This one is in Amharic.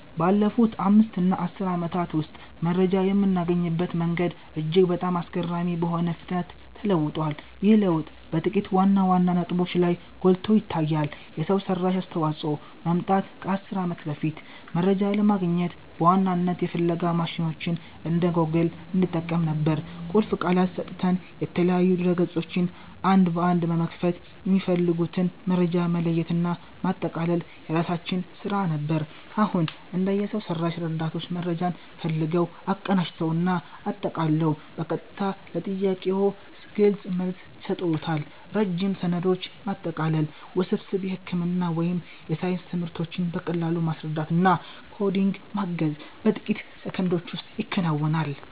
ባለፉት 5 እና 10 ዓመታት ውስጥ መረጃ የምናገኝበት መንገድ እጅግ በጣም አስገራሚ በሆነ ፍጥነት ተለውጧል። ይህ ለውጥ በጥቂት ዋና ዋና ነጥቦች ላይ ጎልቶ ይታያል የሰው ሰራሽ አስተዋፅኦ መምጣት ከ 10 ዓመት በፊት፦ መረጃ ለማግኘት በዋናነት የፍለጋ ማሽኖችን እንደ ጎግል እንጠቀም ነበር። ቁልፍ ቃላትን ሰጥተን፣ የተለያዩ ድረ-ገጾችን አንድ በአንድ በመክፈት፣ የሚፈልጉትን መረጃ መለየትና ማጠቃለል የራሳችን ስራ ነበር። አሁን፦ እንደ የሰው ሰራሽ ረዳቶች መረጃን ፈልገው፣ አቀናጅተው እና አጠቃለው በቀጥታ ለጥያቄዎ ግልጽ መልስ ይሰጡዎታል። ረጅም ሰነዶችን ማጠቃለል፣ ውስብስብ የሕክምና ወይም የሳይንስ ትምህርቶችን በቀላሉ ማስረዳት እና ኮዲንግ ማገዝ በጥቂት ሰከንዶች ውስጥ ይከናወናል።